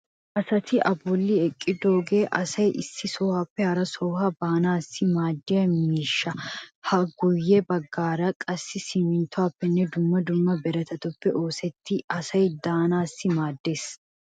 Ha asati a bolli eqqidoogee asay issi sohuwaappe hara sohuwaa baanaassi maaddiya miishsha. Ha guyye baggaage qassi simminttuwappenne dumma dumma birataape oosettidi asay de"anaassi maaddeees.